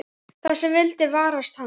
Það sem vildi varast hann.